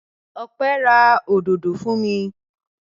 Ọpẹ́ ra òdòdó fún mi.